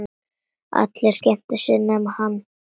Allir skemmtu sér nema hann.